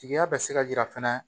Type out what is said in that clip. Tigiya bɛ se ka jira fɛnɛ